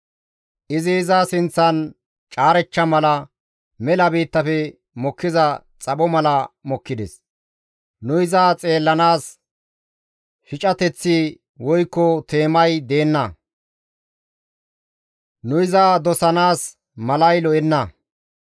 Izi iza sinththan caarechcha mala, mela biittafe mokkiza xapho mala mokkides; nu iza xeellanaas shicateththi woykko teemay deenna; nu iza dosanaas iza malay lo7enna.